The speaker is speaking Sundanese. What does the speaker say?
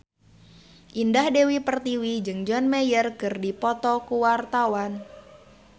Indah Dewi Pertiwi jeung John Mayer keur dipoto ku wartawan